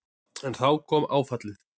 En þá kom áfallið.